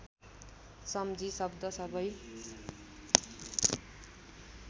सम्झी शब्द सबै